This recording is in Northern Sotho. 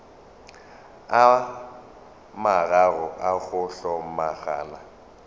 a mararo a go hlomagana